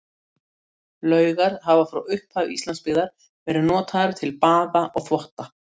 Laugar hafa frá upphafi Íslandsbyggðar verið notaðar til baða og þvotta.